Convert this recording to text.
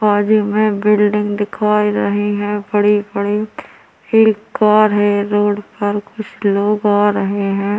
बाजू मे एक बिल्डिंग दिखाई रही हैं बड़ी-बड़ी एक कार हैं रोड पर कुछ लोग आ रहे हैं।